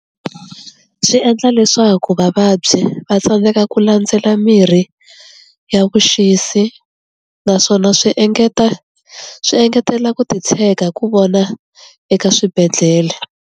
Swi endla leswaku vavabyi va tsandzeka ku landzela mirhi ya vuxisi naswona swi engeta swi engetela ku titshega ku vona eka swibedhlele.